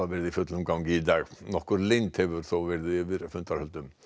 verið í fullum gangi í dag nokkur leynd hefur þó verið yfir fundarhöldum